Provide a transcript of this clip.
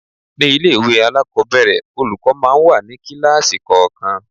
Ní ilé-ìwé alakobere, olùkọ́ máa ń wà ní kíláàsì kọ̀ọ̀kan.